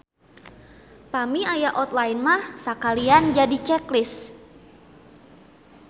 Pami aya outline mah sakalian jadi check list.